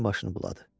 Cini başını buladı.